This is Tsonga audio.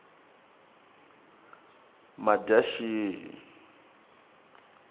madyaxihi